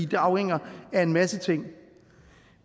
det afhænger af en masse ting